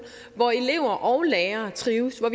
hvor elever og lærere trives hvor